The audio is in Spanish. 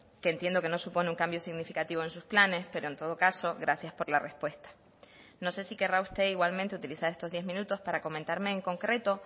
que entiendo que no supone un cambio significativo en sus planes pero en todo caso gracias por la respuesta no sé si querrá usted igualmente utilizar estos diez minutos para comentarme en concreto